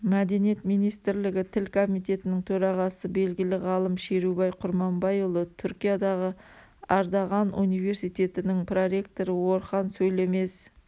мәдениет министрлігі тіл комитетінің төрағасы белгілі ғалым шерубай құрманбайұлы түркиядағы ардағануниверситетінің проректоры орхан сөйлемез